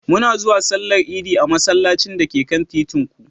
Muna zuwa Sallar Idi a masallacin da ke kan titin ku.